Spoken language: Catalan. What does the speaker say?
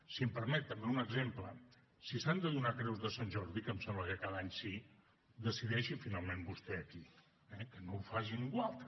si em permet també un exemple si s’han de donar creus de sant jordi que em sembla que cada any sí decideixi finalment vostè a qui eh que no ho faci ningú altre